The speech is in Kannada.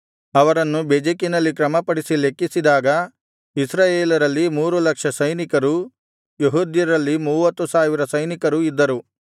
ಅವರನ್ನು ಬೆಜೆಕಿನಲ್ಲಿ ಕ್ರಮಪಡಿಸಿ ಲೆಕ್ಕಿಸಿದಾಗ ಇಸ್ರಾಯೇಲರಲ್ಲಿ ಮೂರು ಲಕ್ಷ ಸೈನಿಕರೂ ಯೆಹೂದ್ಯರಲ್ಲಿ ಮೂವತ್ತು ಸಾವಿರ ಸೈನಿಕರೂ ಇದ್ದರು